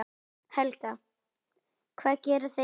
Helga: Hvað gera þeir?